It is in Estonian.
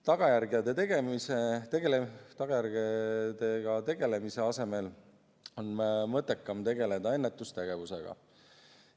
Tagajärgedega tegelemise asemel on mõttekam tegeleda ennetustegevusega.